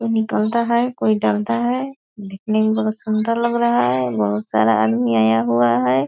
कोई निकलता है कोई टालता है देखने में बहोत सुंदर लग रहा है बहोत सारा आदमी आया हुआ है।